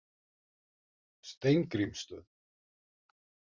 Steingrímsstöð